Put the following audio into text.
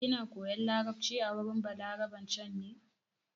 Kina koyan larabci a wurin Balaraben can ne?